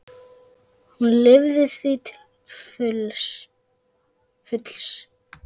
Hún lifði því til fulls.